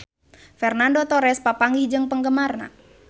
Fernando Torres papanggih jeung penggemarna